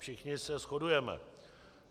Všichni se shodujeme.